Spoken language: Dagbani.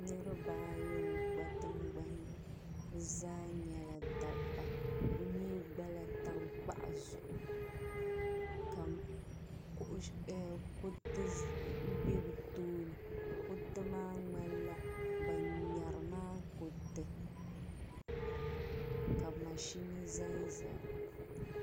niriba ayi n-gba tiŋgbani bɛ zaa nyɛla dabba bɛ mi gba la tankpaɣu zuɣu ka kuriti be bɛ tooni kuriti maa ŋmanila ban ŋmɛri maa kuriti ka mashini za n-zaya.